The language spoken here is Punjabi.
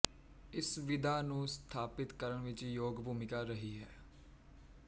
ਇਸ ਵਿਧਾ ਨੂੰ ਸਥਾਪਿਤ ਕਰਨ ਵਿੱਚ ਯੋਗ ਭੂਮਿਕਾ ਰਹੀ ਹੈ